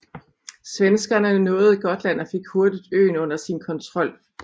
Svenskerne nåede Gotland og fik hurtigt øen under sin kontrol